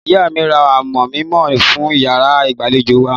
Ìyá mi ra amọ̀ mímọ́ fún ìyàrá ìgbàlejò wa.